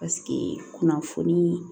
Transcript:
Paseke kunnafoni